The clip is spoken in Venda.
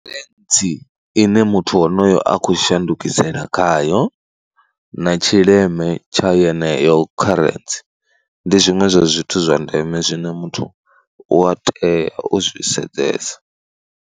Fentsi ine muthu wonoyo a khou shandukisela khayo na tshileme tsha yeneyo kharentsi, ndi zwiṅwe zwa zwithu zwa ndeme zwine muthu u a tea u zwi sedzesa.